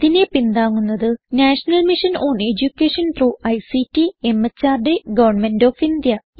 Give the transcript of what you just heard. ഇതിനെ പിന്താങ്ങുന്നത് national mission on education through ICT MHRD government of India